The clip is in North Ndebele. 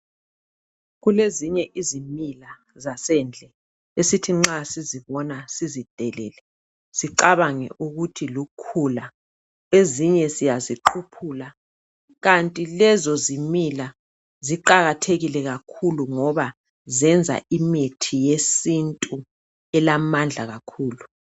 kulezinye izimila zasendle esithi nxa sizibona sizidelele sicabange ukuthi lukhula ezinye ziyaziquphula kanti lezo zimila ziqakathekile kakhulu ngoba zenza imithi yesintu elamandla kakhulu